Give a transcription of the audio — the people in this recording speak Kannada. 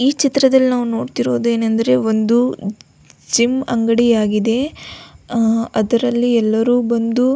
ಈ ಚಿತ್ರದಲ್ಲಿ ನಾವು ನೋಡತ್ತಿರುವುದೇನೆಂದರೆ ಒಂದು ಜಿಮ್ ಅಂಗಡಿ ಆಗಿದೆ ಅಹ್ ಅದರಲ್ಲಿ ಎಲ್ಲರು ಬಂದು --